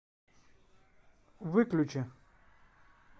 выключи